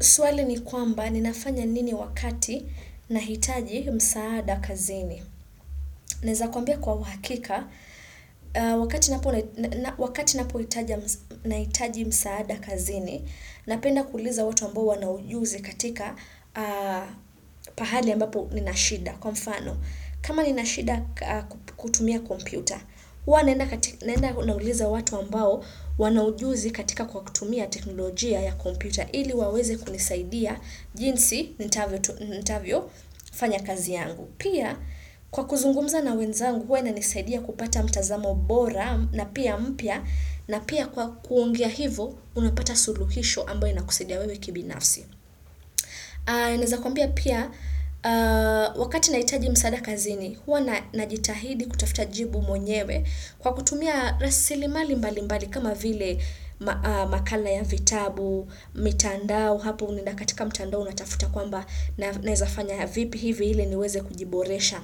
Swali ni kwamba ninafanya nini wakati nahitaji msaada kazini. Neza kuambia kwa wakika, wakati napo nahitaji msaada kazini, napenda kuliza watu ambao wanaujuzi katika pahali ambapo ninashida. Kwa mfano, kama ninashida kutumia kompyuta, huwanaenda nauliza watu ambao wanaujuzi katika kutumia teknolojia ya kompyuta. Ili waweze kunisaidia jinsi nitavyo fanya kazi yangu. Pia kwa kuzungumza na wenzangu huwa na nisaidia kupata mtazamo bora na pia mpya na pia kwa kuongea hivo unapata suluhisho ambayo inakusidia wewe kibinafsi. Neza kumbia pia, wakati naitaji msaada kazini, hua najitahidi kutafuta jibu monyewe kwa kutumia rasili mali mbali mbali kama vile makala ya vitabu, mitandao, hapo unaenda katikamtandao unatafuta kwamba naezafanya vip hivi ili niweze kujiboresha.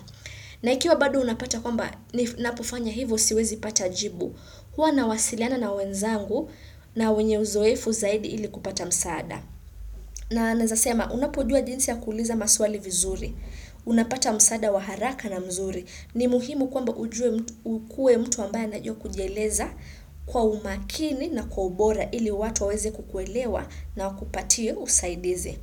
Na ikiwa bado unapata kwamba na pofanya hivo siwezi pata ajibu, hua na wasiliana na wenzangu na wenye uzoefu zaidi ili kupata msaada. Na naezasema, unapojua jinsi ya kuliza maswali vizuri, unapata msaada waharaka na mzuri, ni muhimu kwamba ukue mtu ambae anajua kujeleza kwa umakini na kwa ubora ili watu waweze kukuelewa na wakupatie usaidizi.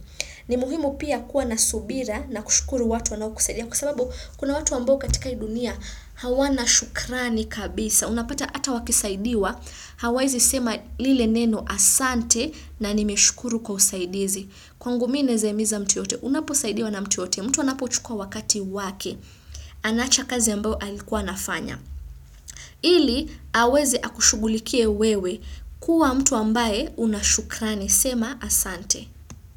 Ni muhimu pia kuwa nasubira na kushukuru watu wanao kusaidia kwasababu kuna watu ambao katika hii dunia hawana shukrani kabisa. Unapata ata wakisaidiwa, hawaezi sema lile neno asante na nimeshukuru kwa usaidizi. Kwangu mi naezaimiza mtu yote, unapo saidiwa na mtu yote, mtu anapo chukua wakati wake, anacha kazi ambao alikuwa nafanya. Ili, aweze akushugulikie wewe kuwa mtu ambaye unashukrani sema asante.